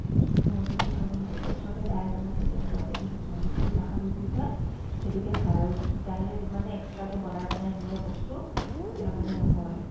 উম অ যিতি খাবলে মানে এতিয়া ওচৰতে দা ই এজন আছে তেওঁ তেওঁকে দেখিছো মানে তিৰিতোয় নাখাবি বুলি কই সেইটোকে খাই আৰু তাইলে যিমানে extra কে বনাই বনাই নিয়ে বস্তু তেওঁৰ মানে নহয়